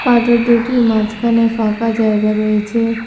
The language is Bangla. পাথর দুইটির মাঝখানে ফাঁকা জায়গা রয়েছে।